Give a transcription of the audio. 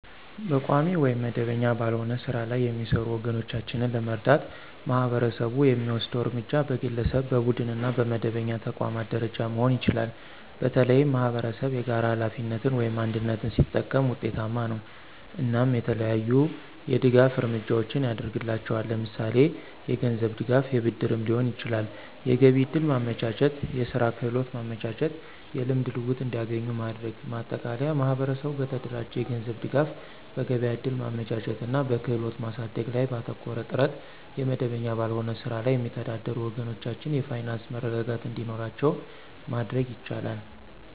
በቋሚ ወይም መደበኛ ባልሆነ ሥራ ላይ የሚሰሩ ወገኖቻችንን ለመርዳት ማህበረሰቡ የሚወስደው እርምጃ በግለሰብ፣ በቡድንና በመደበኛ ተቋማት ደረጃ መሆን ይችላል። በተለይም ማኅበረሰብ የጋራ ሀላፊነትን (አንድነት) ሲጠቀም ውጤታማ ነው። እናም የተለያዩ የድጋፍ እርምጃዎችን ያድርግላቸዋል ለምሳሌ የገንዝብ ድጋፍ የብድርም ሊሆን ይችላል። የገቢያ ዕድል ማመቻቸት፣ የስራ ክህሎት ማመቻቸት። የልምድ ልውውጥ እንዲገኙ ማድረግ። ማጠቃለያ ማህበረሰቡ በተደራጀ የገንዘብ ድጋፍ፣ በገበያ እድል ማመቻቸት እና በክህሎት ማሳደግ ላይ ባተኮረ ጥረት የመደበኛ ባልሆነ ስራ ላይ የሚተዳደሩ ወገኖቻችን የፋይናንስ መረጋጋት እንዲኖራቸው ማድረግ ይቻላል።